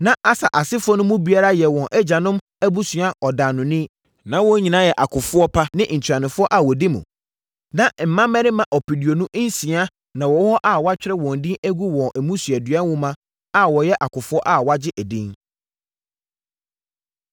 Na Aser asefoɔ no mu biara yɛ wɔn agyanom abusua ɔdaanoni. Na wɔn nyinaa yɛ akofoɔ pa ne ntuanofoɔ a wɔdi mu. Na mmarima ɔpeduonu nsia (26,000) na wɔwɔ hɔ a wɔatwerɛ wɔn din agu wɔn mmusuadua nwoma mu a wɔyɛ akofoɔ a wɔagye edin.